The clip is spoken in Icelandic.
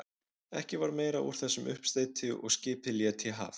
Ekki varð meira úr þessum uppsteyti og skipið lét í haf.